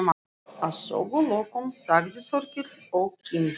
Að sögulokum sagði Þórkell og kímdi